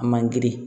A man girin